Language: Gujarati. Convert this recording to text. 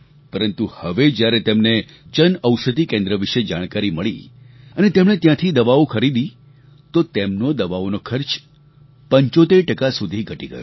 પરંતુ હવે જ્યારે તેમને જન ઔષધિ કેન્દ્ર વિશે જાણકારી મળી અને તેમણે ત્યાંથી દવાઓ ખરીદી તો તેમનો દવાઓનો ખર્ચ 75 ટકા સુધી ઘટી ગયો